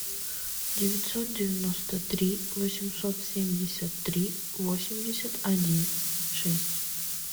девятьсот девяносто три восемьсот семьдесят три восемьдесят один шесть